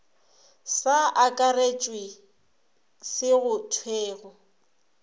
sa akaretšwe se go thwego